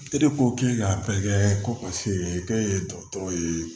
E de ko k'e k'a bɛɛ kɛ ko paseke k'e ye dɔgɔtɔrɔ ye